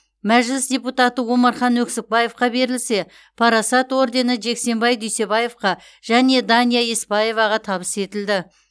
мәжіліс депутаты омархан оксикбаевқа берілсе парасат ордені жексенбай дүйсебаевқа және дания еспаеваға табыс етілді